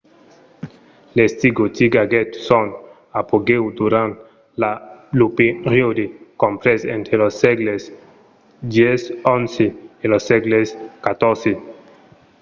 l’estic gotic aguèt son apogèu durant lo periòde comprés entre los sègles x-xi e lo sègle xiv